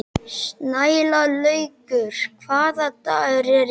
Snælaugur, hvaða dagur er í dag?